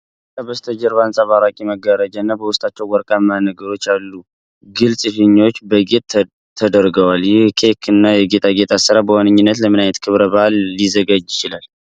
ከበስተጀርባ አንጸባራቂ (Sequin) መጋረጃዎችና በውስጣቸው ወርቃማ ነገሮች ያሉት ግልጽ ፊኛዎች ለጌጥ ተደርገዋል። ይህ የኬክ እና የጌጣጌጥ አሰራር በዋነኛነት ለምን ዓይነት ክብረ በዓል ሊዘጋጅ ይችላል?